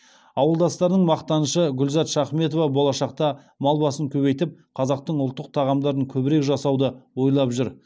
ауылдастарының мақтанышы гүлзат шахметова болашақта мал басын көбейтіп қазақтың ұлттық тағамдарын көбірек жасауды ойлап жүр